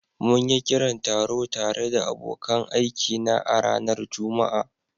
Mun yi kiran taro tare da abokan aikina a ranar Juma'a.